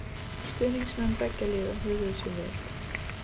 Stuðningsmenn beggja liða höguðu sér vel.